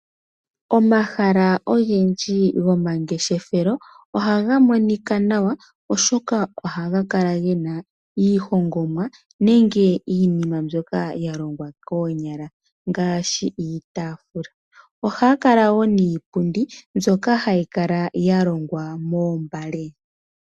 Omahala ogendji gomangeshefelo ohaga monika nawa oshoka ohaga kala gena iihongomwa nenge iinima mbyoka koonyala ngaashi iitafula ohaya kala niipundi haya kala yalongwa moombale.